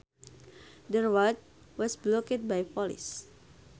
The road was blocked by police